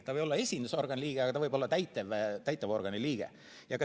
Ta ei või olla esindusorgani liige, aga ta võib olla täitevorgani liige.